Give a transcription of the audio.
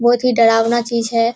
बहोत ही डरावना चीज है।